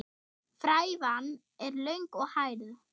Frævan er löng og hærð.